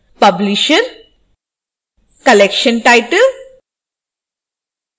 publisher: collection title: